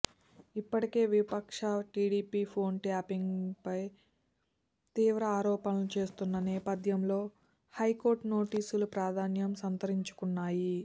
ఇప్పటికే విపక్ష టీడీపీ ఫోన్ ట్యాపింగ్పై తీవ్ర ఆరోపణలు చేస్తున్న నేపథ్యంలో హైకోర్టు నోటీసులు ప్రాధాన్యం సంతరించుకున్నాయి